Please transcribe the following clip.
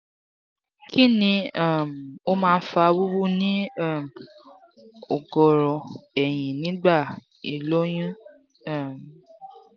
kini um o ma n fa wuwu ni um ogoro eyin nigba iloyun? um